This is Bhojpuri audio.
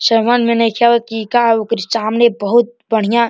समझ में नईखे आवत कि इ का ह? ओकरे सामने बहुत बढ़िया --